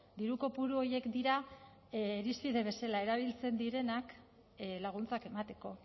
diru kopuru horiek dira irizpide bezala erabiltzen direnak laguntzak emateko